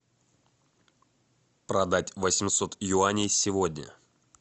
продать восемьсот юаней сегодня